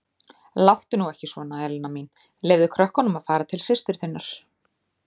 Láttu nú ekki svona, Helena mín, leyfðu krökkunum að fara til systur þinnar.